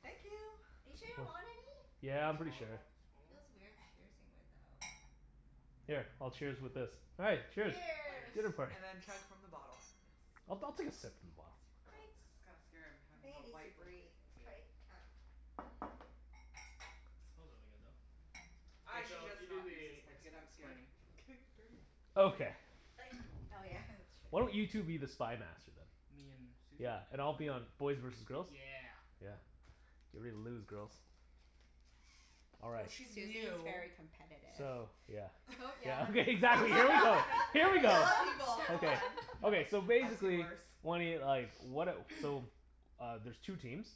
Thank you. Are you sure you don't want any? Yeah, Wanna I'm pretty smaller o- sure. smaller one? Feels weird cheersing without Here, I'll cheers with this. All right. Cheers. Cheers. Dinner Cheers. party. And then chug from the bottle, yes. I'll I'll take a sip from the bottle. Oh, Wait. this is kinda scary. I'm I having think it a needs to white breathe. blanket. It's Yeah. quite, um Smells really good, though. Mhm. K I should Phil, just you do not use this the ex- blanket. I'm scared explaining. of getting it dirty. Okay. Like, oh yeah. Why don't That's you true. two be the Spy Master, then? Me and Susie? Yeah, and I'll be on, K. boys versus girls? Yeah. Yeah. Get ready to lose, girls. All Well, right. she's Susie's new. very competitive. So, yeah Don't yell Yeah at me, Susie. exactly. Here we I go. You Here we never yell go. yell at at people. people, come Come Okay, on. on. okay. So I've seen basically worse. Wenny, like, what a, so Uh, there's two teams.